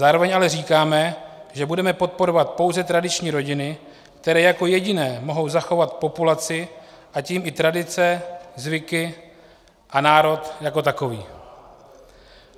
Zároveň ale říkáme, že budeme podporovat pouze tradiční rodiny, které jako jediné mohou zachovat populaci, a tím i tradice, zvyky a národ jako takový.